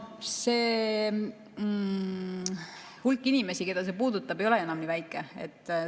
See hulk inimesi, keda see puudutab, ei ole enam nii väike.